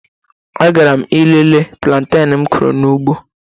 A gara m ilele planteñ m kụrụ n'ugbo